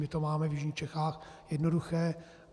My to máme v jižních Čechách jednoduché.